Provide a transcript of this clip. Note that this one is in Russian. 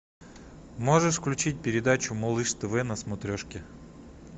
можешь включить передачу малыш тв на смотрешке